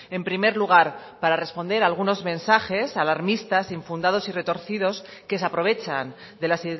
en primer lugar para responder algunos mensajes alarmistas infundados y retorcidos que se aprovechan de la